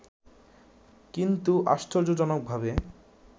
কিন্তু আশ্চর্যজনকভাবে